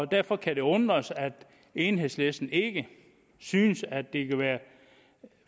derfor kan det undre os at enhedslisten ikke synes at det kan være